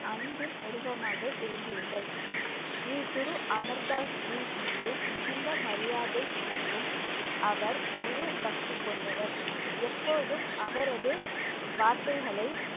அன்பின் உருவமாக இருந்தீர்கள். ஸ்ரீ குரு அமர் தாஸ்ஜி மீது மிகுந்த மரியாதை மற்றும் அவர் முழு பக்தி கொண்டவர். எப்போதும் அவரது வார்த்தைகளை